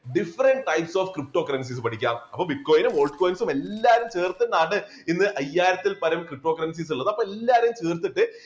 different types of cryptocurrencies പഠിക്കാം. അപ്പോ bitcoin ഉം altcoins ഉം എല്ലാരെയും ചേർത്തിട്ടാണ് ഇന്ന് അയ്യായിരത്തിൽ പരം cryptocurrencies ഉള്ളത് അപ്പോൾ എല്ലാരും ചേർത്തിട്ട്